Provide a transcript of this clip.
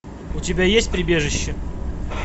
у тебя есть прибежище